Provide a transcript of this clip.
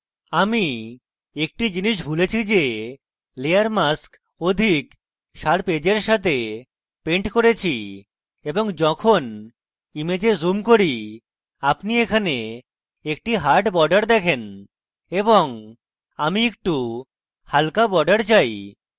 আমি একটি জিনিস ভুলেছি যে layer mask অধিক sharp edge এর সাথে পেন্ট করেছি এবং যখন image zoom করি আপনি এখানে একটি hard border দেখেন এবং আমি একটু হালকা border চাই